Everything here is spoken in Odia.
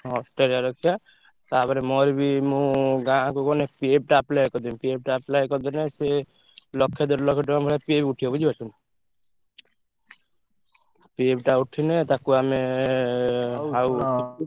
ଅଷ୍ଟ୍ରେଲିଆ ରଖିଆ ତାପରେ ମୋରବି ମୁଁ ଗାଁକୁ ଗଲେ apply କରିଦେବି PF ଟା apply କରିଦେଲେ ସିଏ ଲକ୍ଷେ ଦେଢ ଲକ୍ଷ ଟଙ୍କା ଭଳିଆ PF ଉଠିବ ବୁଝିପାରୁଛ ନା। PF ଟା ଉଠିଲେ ତାକୁ ଆମେ ।